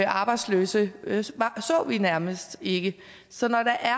arbejdsløse så vi nærmest ikke så når der er